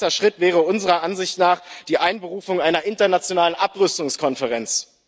Ein erster Schritt wäre unserer Ansicht nach die Einberufung einer internationalen Abrüstungskonferenz.